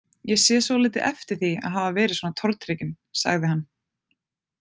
Ég sé svolítið eftir því að hafa verið svona tortrygginn, sagði hann.